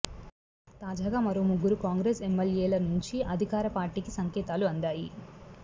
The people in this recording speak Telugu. తాజాగా మరో ముగ్గురు కాంగ్రెస్ ఎమ్మెల్యేల నుంచి అధికార పార్టీకి సంకేతాలు అందాయి